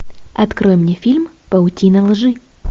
открой мне фильм паутина лжи